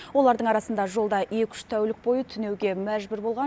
олардың арасында жолда екі үш тәулік бойы түнеуге мәжбүр болған